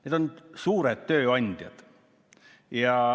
Need on suured tööandjad.